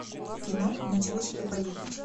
кино ничего себе поездочка